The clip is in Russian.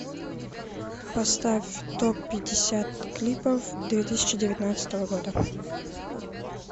поставь топ пятьдесят клипов две тысячи девятнадцатого года